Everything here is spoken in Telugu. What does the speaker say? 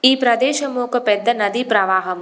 ఈ ప్రదేశం ఒక పెద్ద నది ప్రవాహం.